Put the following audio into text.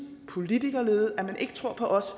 politikerlede og at man ikke tror på os